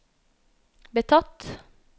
betatt